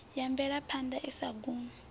ya mvelaphanḓa i sa gumi